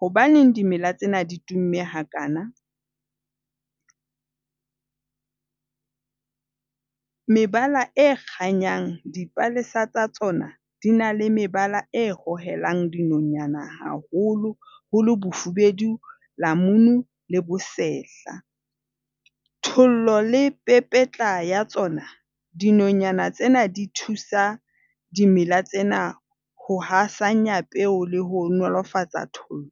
Hobaneng dimela tsena ditumme hakaana? Mebala e kganyang, dipalesa tsa tsona di na le mebala e hohelang dinonyana haholoholo bofubedu, lamunu le bosehla. Thollo le pepetla ya tsona, dinonyana tsena di thusa dimela tsena ho hasanya peo le ho nolofatsa thollo.